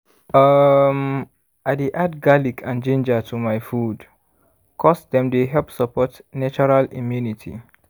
umm i dey add garlic and ginger to my food ’cause dem dey help support natural immunity